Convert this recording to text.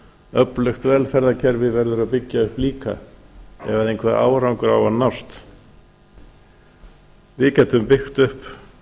öflugt velferðarkerfi verður að byggja upp líka ef einhver árangur á að nást við getum byggt upp